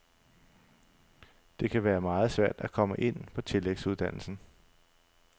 Det kan være meget svært at komme ind på tillægsuddannelsen.